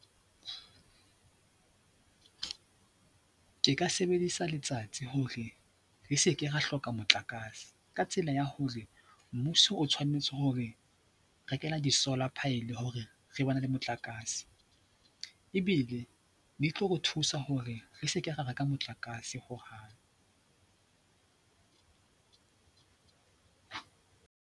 Ke ka sebedisa letsatsi hore re seke ra hloka motlakase ka tsela ya hore mmuso o tshwanetse ho re rekela di-solar pile hore re bane le motlakase ebile ne tlo re thusa hore re seke ra reka motlakase hohang.